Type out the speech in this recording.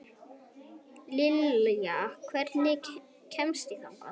Liljan, hvernig kemst ég þangað?